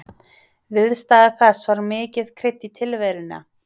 Viðstaða þess var mikið krydd í tilveruna.